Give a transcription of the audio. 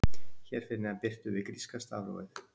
Hér fyrir neðan birtum við gríska stafrófið.